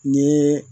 Ni